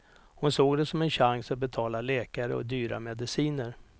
Hon såg det som en chans att betala läkare och dyra mediciner.